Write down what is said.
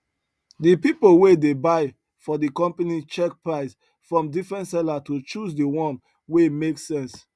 the people wey dey buy for the company check price from different seller to choose the one wey make sense